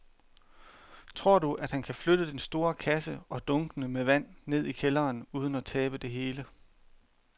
Tror du, at han kan flytte den store kasse og dunkene med vand ned i kælderen uden at tabe det hele?